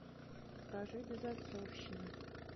покажи безотцовщина